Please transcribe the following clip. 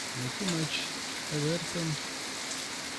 найти матч эвертон